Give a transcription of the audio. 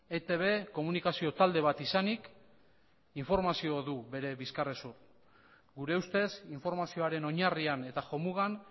etb komunikazio talde bat izanik informazioa du bere bizkarrezur gure ustez informazioaren oinarriakn eta jomugan